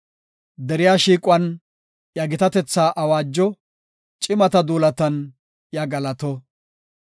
Deriya shiiquwan iya gitatetha awaajo; cimata duulatan iya galato.